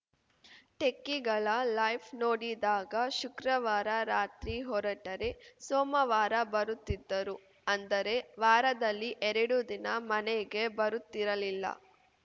ಟೆಕ್ಕಿಗಳ life ನೋಡಿದಾಗ ಶುಕ್ರವಾರ ರಾತ್ರಿ ಹೊರಟರೆ ಸೋಮವಾರ ಬರುತ್ತಿದ್ದರು ಅಂದರೆ ವಾರದಲ್ಲಿ ಎರಡು ದಿನ ಮನೆಗೆ ಬರುತ್ತಿರಲಿಲ್ಲ